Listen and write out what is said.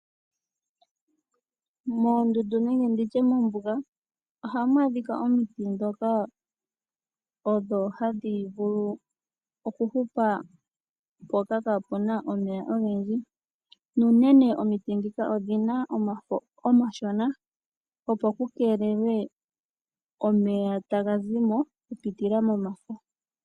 Moondundu nenge ndi tye mombuga ohamu adhika omiti ndhoka odho hadhi vulu okuhupa mpoka kaapu na omeya ogendji. Nuunene omiti ndhika odhi na omafo omashona, opo ku keelelwe omeya taga zi mo okupitila momafo.